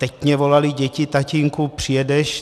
Teď mně volali děti: Tatínku, přijedeš?